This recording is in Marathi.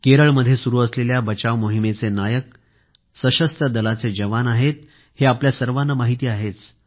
केरळमध्ये सुरू असलेल्या बचाव मोहिमेचे नायक सशस्त्र दलाचे जवान आहेत हे आपल्या सर्वांना माहीत आहेच